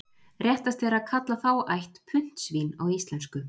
Réttast er að kalla þá ætt puntsvín á íslensku.